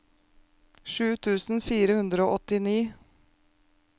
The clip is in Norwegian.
sju tusen fire hundre og åttini